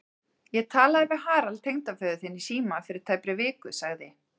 Ég talaði við Harald tengdaföður þinn í síma fyrir tæpri viku sagði